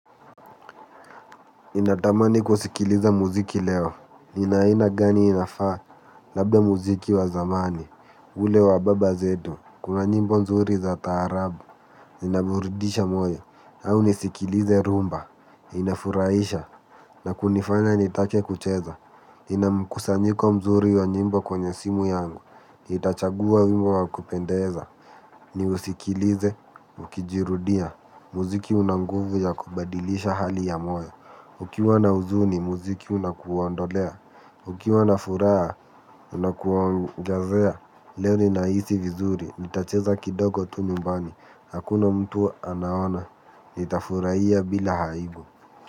Ninatamani kusikiliza muziki leo, nina aina gani inafaa, labda muziki wa zamani, ule wa baba zetu, kuna njimbo mzuri za taarabu, inaburidisha moyo, au nisikilize rumba, inafuraisha, na kunifanya nitake kucheza, ninamkusanyiko mzuri wa njimbo kwenye simu yangu, nitachagua wimbo wa kupendeza, niusikilize, ukijirudia, muziki unanguvu ya kubadilisha hali ya moyo, ukiwa na uzuni, muziki unakuondolea. Ukiwa na furaha, unakuongezea. Leo ninahisi vizuri, nitacheza kidogo tu nyumbani. Hakuna mtu anaona, nitafurahia bila aibu.